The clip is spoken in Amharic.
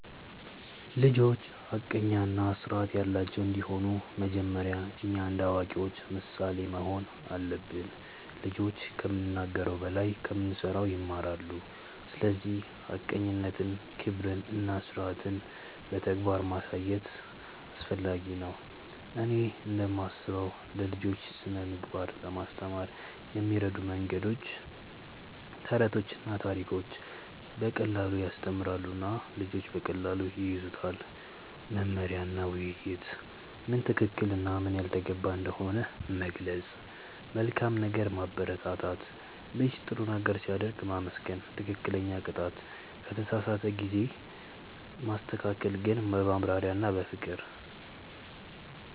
ልጆች ሐቀኛ እና ስርዓት ያላቸው እንዲሆኑ መጀመሪያ እኛ እንደ አዋቂዎች ምሳሌ መሆን አለብን። ልጆች ከምንናገር በላይ ከምንሠራ ይማራሉ፤ ስለዚህ ሐቀኝነትን፣ ክብርን እና ስርዓትን በተግባር ማሳየት አስፈላጊ ነው። እኔ እንደምስበው ለልጆች ስነ ምግባር ለማስተማር የሚረዱ መንገዶች፦ ተረቶችና ታሪኮች –> በቀላሉ ያስተምራሉ እና ልጆች በቀላሉ ይያዙታል። መመሪያ እና ውይይት –> ምን ትክክል እና ምን ያልተገባ እንደሆነ መግለጽ። መልካም ነገር ማበረታት –> ልጅ ጥሩ ነገር ሲያደርግ ማመስገን። ትክክለኛ ቅጣት –> ከተሳሳተ ጊዜ ማስተካከል ግን በማብራሪያ እና በፍቅር።